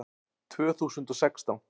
Tvö þúsund og sextán